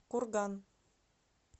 курган